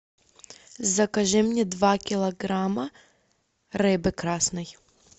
закажи мне два килограмма рыбы красной